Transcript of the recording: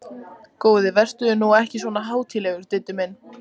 Góði vertu nú ekki svona hátíðlegur, Diddi minn!